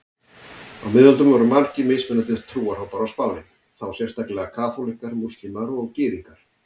Á miðöldum voru margir mismunandi trúarhópar á Spáni, þá sérstaklega kaþólikkar, múslímar og gyðingar.